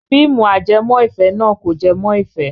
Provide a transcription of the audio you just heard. Fíìmù ajẹmọ́-ìfẹ́ náà kò jẹ mọ́ ìfẹ́.